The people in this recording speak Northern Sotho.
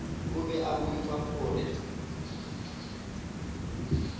o be a boifa gore